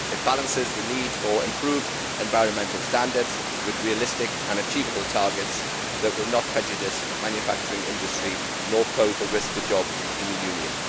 It balances the need for improved environmental standards with realistic and achievable targets that will not prejudice manufacturing industry nor pose a risk to jobs in the